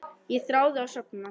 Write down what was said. Ég þráði að sofna.